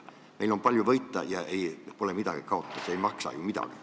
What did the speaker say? Meil on palju võita ja pole midagi kaotada – see ei maksa ju midagi.